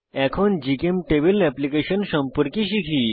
এখন জিচেমটেবল এপ্লিকেশন সম্পর্কে শিখি